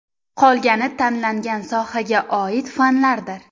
Qolgani tanlangan sohaga oid fanlardir.